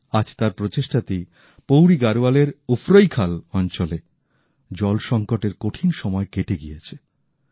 আজ তার প্রচেষ্টাতেই পৌরি গারোয়ালের উফরৈখাল অঞ্চলে জল সংকটএর কঠিন সময় কেটে গিয়েছে